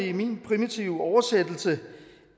i min primitive oversættelse